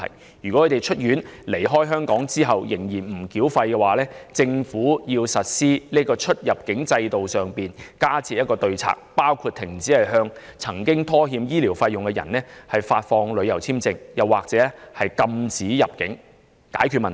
假如他們在出院離開香港後仍不繳清欠費的話，政府應就出入境方面加設對策，包括停止向曾拖欠醫療費用的人簽發旅遊簽證或禁止其入境，以杜絕問題。